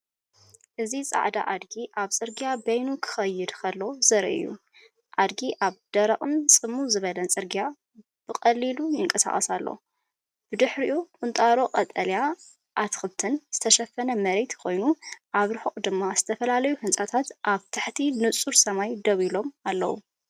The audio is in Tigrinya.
እዚ ጻዕዳ ኣድጊ ኣብ ጽርግያ በይኑ ክኸይድ ከሎ ዘርኢ እዩ። ኣድጊ ኣብ ደረቕን ጽምው ዝበለን ጽርግያ ብቐሊሉ ይንቀሳቐስ ኣሎ። ብድሕሪኡ ቁንጣሮ ቀጠልያ ኣትክልትን ዝተሸፈነ መሬትን ኮይኑ፡ኣብ ርሑቕ ድማ ዝተፈላለዩ ህንጻታት ኣብ ትሕቲ ንጹር ሰማይ ደው ኢሎም ኣለዉ።